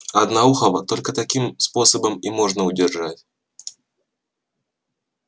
одноухого только таким способом и можно удержать